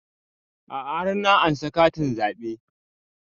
A'a har na ansa katin zaɓe